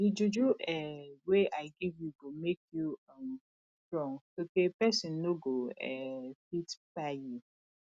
di juju um wey i give you go make you um strong sotee pesin no go um fit kpai you